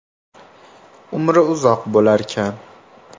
Umri uzoq bo‘larkan.